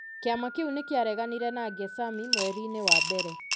Kĩama kĩu nĩ kĩareganire na Gesami mweri-inĩ wa mbere.